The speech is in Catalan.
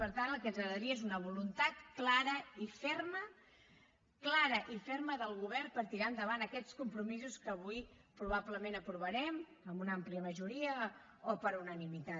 per tant el que ens agradaria és una voluntat clara i ferma clara i ferma del govern per tirar endavant aquests compromisos que avui probablement aprovarem amb una àmplia majoria o per unanimitat